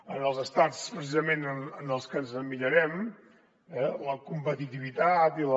en els estats precisament en els que ens emmirallem la competitivitat i la